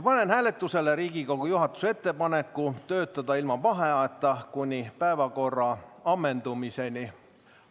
Panen hääletusele Riigikogu juhatuse ettepaneku töötada ilma vaheajata kuni päevakorra ammendumiseni.